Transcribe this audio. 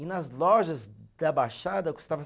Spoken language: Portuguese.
E nas lojas da Baixada custava